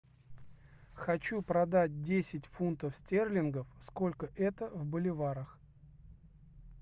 хочу продать десять фунтов стерлингов сколько это в боливарах